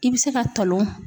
I bɛ se ka tolon.